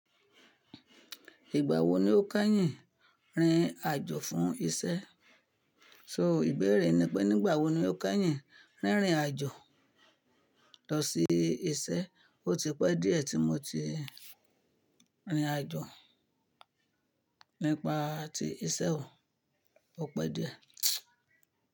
Ìgbà wo ni o kẹnyìn rìn àjọ̀ fún iṣẹ́? So ìbéèrè ni pé nígbà wo ni o kányìn rìnrìn àjò lọ sí iṣẹ́? O ti pẹ́ díẹ̀ tí mo ti rìnrìn àjò nípa tí iṣẹ́ o. O pẹ́ díẹ̀.